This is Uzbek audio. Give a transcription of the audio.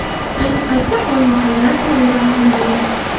Ayni paytda qonun hali rasman e’lon qilinmagan.